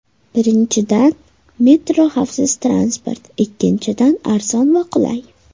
Birinchidan, metro xavfsiz transport, ikkinchidan, arzon va qulay.